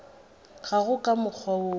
ga go ka mokgwa wo